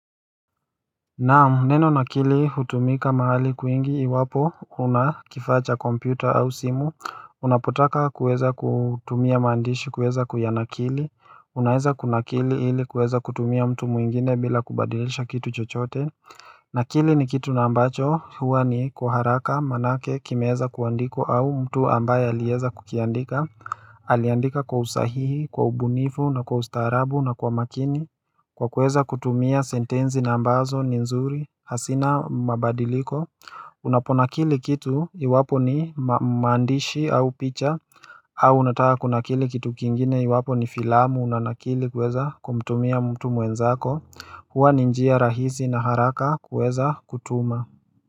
Naam neno nakili hutumika mahali kwingi iwapo kunakifaacha kompyuta au simu Unapotaka kuueza kutumia maandishi kueza kuyanakili Unaweza kuna kili ili kuweza kutumia mtu mwingine bila kubadilisha kitu chochote Nakili ni kitu na ambacho huwa ni kwa haraka manake kimeweza kuandikwa au mtu ambaye aliweza kukiandika Aliandika kwa usahihi kwa ubunifu na kwa ustaarabu na kwa makini Kwa kuweza kutumia sentensi na ambazo ni nzuri hazina mabadiliko Unaponakili kitu iwapo ni maandishi au picha au unataka kunakili kitu kingine iwapo ni filamu unanakili kuweza kumtumia mtu mwenzako Hua ninjia rahisi na haraka kuweza kutuma.